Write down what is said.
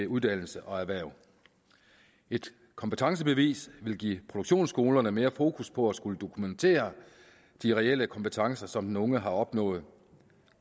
uddannelse og erhverv et kompetencebevis vil give produktionsskolerne mere fokus på at skulle dokumentere de reelle kompetencer som den unge har opnået